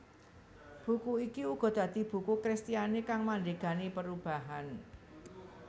Buku iki uga dadi buku Kristiani kang mandhegani perubahan